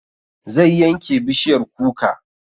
Zai yanke bishiyar kuka